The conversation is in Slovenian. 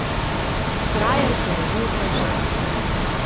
Frajer ponovi vprašanje.